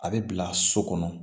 A bɛ bila so kɔnɔ